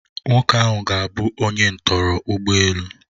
Nwoke ahụ ga-abụ onye ntọrọ ụgbọ elu.